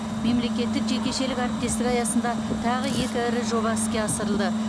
мемлекеттік жекешелік әріптестік аясында тағы екі ірі жоба іске асырылды